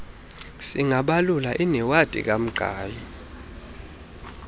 singabalula inewadi kamqhayi